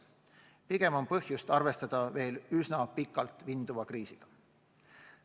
Pigem on põhjust arvestada veel üsna pikalt vinduva kriisiga.